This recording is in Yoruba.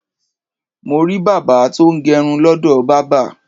Mo rí bàbá tó ń gẹrun lọ́dọ̀ bábà.